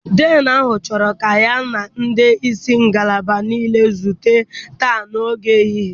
Dean ahụ chọrọ ka ya na ndị isi ngalaba niile zute taa n'oge ehihie.